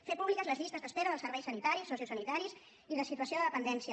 fer públiques les llistes d’espera dels serveis sanitaris sociosanitaris i de situació de dependència